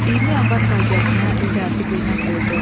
20 yanvar faciəsinə siyasi qiymət verdi.